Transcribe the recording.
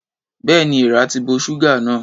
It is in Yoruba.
Bẹ́ẹ̀ni, èeàrà ti bo ṣúgà náà.